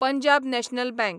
Punjab National bank